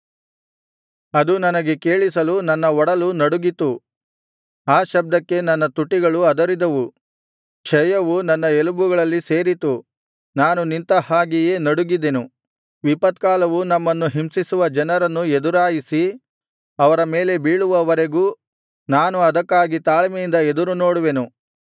ಅದು ನನಗೆ ಕೇಳಿಸಲು ನನ್ನ ಒಡಲು ನಡುಗಿತು ಆ ಶಬ್ದಕ್ಕೆ ನನ್ನ ತುಟಿಗಳು ಅದರಿದವು ಕ್ಷಯವು ನನ್ನ ಎಲುಬುಗಳಲ್ಲಿ ಸೇರಿತು ನಾನು ನಿಂತ ಹಾಗೆಯೇ ನಡುಗಿದೆನು ವಿಪತ್ಕಾಲವು ನಮ್ಮನ್ನು ಹಿಂಸಿಸುವ ಜನರನ್ನು ಎದುರಾಯಿಸಿ ಅವರ ಮೇಲೆ ಬೀಳುವವರೆಗೂ ನಾನು ಅದಕ್ಕಾಗಿ ತಾಳ್ಮೆಯಿಂದ ಎದುರುನೋಡುವೆನು